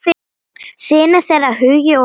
Synir þeirra Hugi og Hróar.